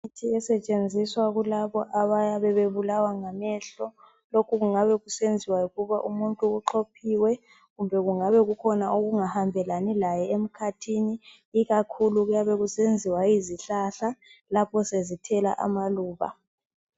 Imithi esetshenziswa kulabo abayabe bebulawa ngamehlo. Lokhu kungabe kusenziwa yikuthi umuntu uxhophiwe kumbe kungabe kukhona okungahambelani laye emkhathini ikakhulu kuyabe kusenziwa yizihlahla lapho sezithela amaluba.